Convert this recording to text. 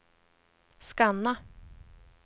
scanna